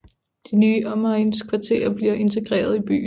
De nye omegnskvarterer bliver integreret i byen